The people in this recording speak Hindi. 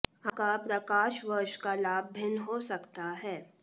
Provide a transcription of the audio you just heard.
आपका प्रकाश वर्ष का लाभ भिन्न हो सकता है